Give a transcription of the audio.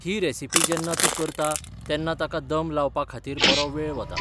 ही recipe जेन्ना तूं करता तेन्ना ताका दम लावपा खातीर बरो वेळ वता.